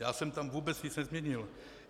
Já jsem tam vůbec nic nezměnil.